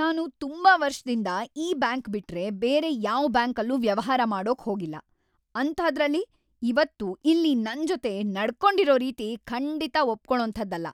ನಾನು ತುಂಬಾ ವರ್ಷದಿಂದ ಈ ಬ್ಯಾಂಕ್‌ ಬಿಟ್ರೆ ಬೇರೆ ಯಾವ್‌ ಬ್ಯಾಂಕಲ್ಲೂ ವ್ಯವಹಾರ ಮಾಡೋಕ್ ಹೋಗಿಲ್ಲ.. ಅಂಥಾದ್ರಲ್ಲಿ ಇವತ್ತು ಇಲ್ಲಿ ನನ್ಜೊತೆ ನಡ್ಕೊಂಡಿರೋ ರೀತಿ ಖಂಡಿತ ಒಪ್ಕೊಳೋಂಥದ್ದಲ್ಲ.